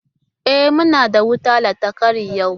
E, muna da wutan lantarki yau.